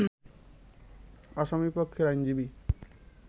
আসামি পক্ষের আইনজীবী